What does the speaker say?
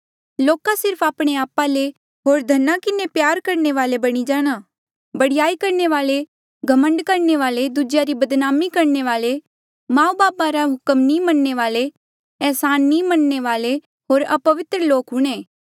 लोका सिर्फ आपणे आपा ले होर धना किन्हें प्यार करणे वाले बणी जाणा बडयाई करणे वाले घमंड करणे वाले दूजेया री बदनामी करणे वाले माऊ बापू रा हुक्म नी मनणे वाले एहसान नी मनणे वाले होर अपवित्र लोक हूंणे